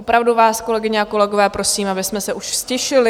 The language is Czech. Opravdu vás, kolegyně a kolegové, prosím, abychom se už ztišili.